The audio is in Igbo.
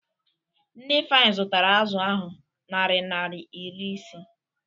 Nne Ifeanyi zụtara azụ ahụ naari naira iri ise.